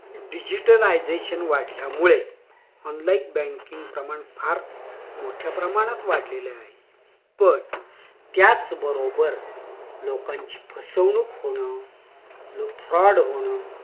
digitalisation वाढल्यामुळे online banking प्रमाण फार मोठ्या प्रमाणात वाढलेलं आहे पण त्याच बरोबर लोकांची फसवणूक होणं व fraud होणं